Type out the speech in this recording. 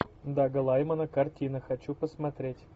дага лаймана картина хочу посмотреть